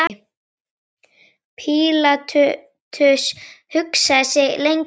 Pílatus hugsaði sig lengi um.